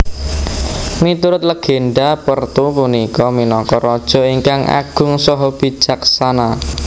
Miturut legenda Pertu punika minangka raja ingkang agung saha bijaksana